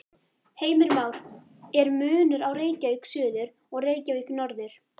Heimir Már: Er munur á Reykjavík suður og Reykjavík norður?